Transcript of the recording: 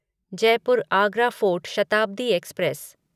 Jaipur Agra fort Shatabdi express